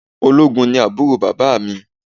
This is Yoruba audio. Ológun ni àbúrò bàbá mi